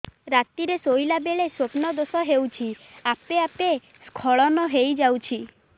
ରାତିରେ ଶୋଇଲା ବେଳେ ସ୍ବପ୍ନ ଦୋଷ ହେଉଛି ଆପେ ଆପେ ସ୍ଖଳନ ହେଇଯାଉଛି